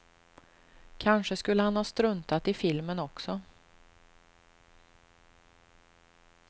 Kanske skulle han ha struntat i filmen också.